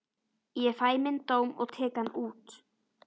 Ég fæ minn dóm og tek hann út.